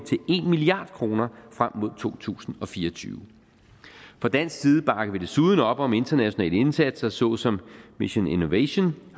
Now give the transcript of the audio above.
en milliard kroner frem mod to tusind og fire og tyve fra dansk side bakker vi desuden op om internationale indsatser såsom mission innovation